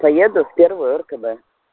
поеду в первую ркб